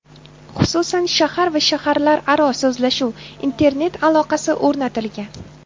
Xususan, shahar va shaharlararo so‘zlashuv, internet aloqasi o‘rnatilgan.